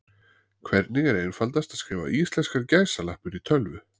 hvernig er einfaldast að skrifa íslenskar gæsalappir í tölvu